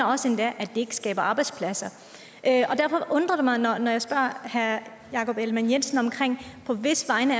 også at det ikke skaber arbejdspladser derfor undrer det mig når jeg spørger herre jakob ellemann jensen på hvis vegne